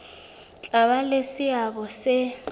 tla ba le seabo se